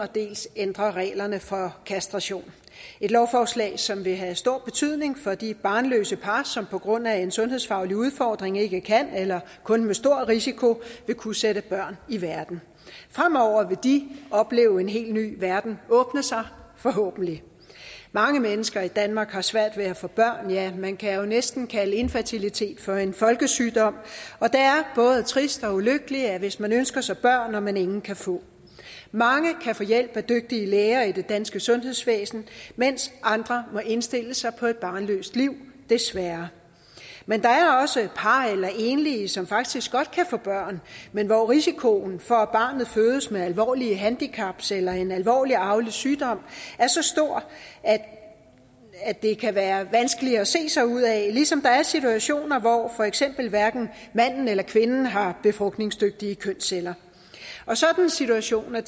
dels ændre reglerne for kastration et lovforslag som vil have stor betydning for de barnløse par som på grund af en sundhedsfaglig udfordring ikke kan eller kun med stor risiko vil kunne sætte børn i verden fremover vil de opleve en helt ny verden åbne sig forhåbentlig mange mennesker i danmark har svært ved at få børn ja man kan jo næsten kalde infertilitet for en folkesygdom og det er både trist og ulykkeligt hvis man ønsker sig børn når man ingen kan få mange kan få hjælp af dygtige læger i det danske sundhedsvæsen mens andre må indstille sig på et barnløst liv desværre men der er også par eller enlige som faktisk godt kan få børn men hvor risikoen for at barnet fødes med alvorlige handicaps eller en alvorlig arvelig sygdom er så stor at at det kan være vanskeligt at se sig ud af ligesom der er situationer hvor for eksempel hverken manden eller kvinden har befrugtningsdygtige kønsceller sådanne situationer